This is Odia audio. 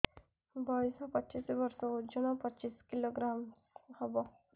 ବୟସ ପଚିଶ ବର୍ଷ ଓଜନ ପଚିଶ କିଲୋଗ୍ରାମସ ହବ